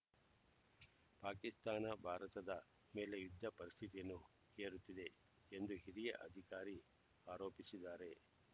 ಪಾಕಿಸ್ತಾನ ಭಾರತದ ಮೇಲೆ ಯುದ್ಧ ಪರಿಸ್ಥಿತಿಯನ್ನು ಹೇರುತ್ತಿದೆ ಎಂದು ಹಿರಿಯ ಅಧಿಕಾರಿ ಆರೋಪಿಸಿದ್ದಾರೆ